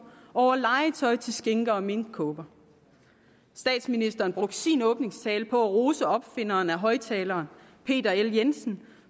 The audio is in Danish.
over legetøj til skinker og minkkåber statsministeren brugte sin åbningstale på at rose opfinderen af højtaleren peter l jensen